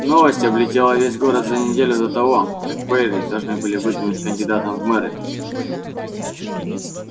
новость облетела весь город за неделю до того как байерли должны были выдвинуть кандидатом в мэры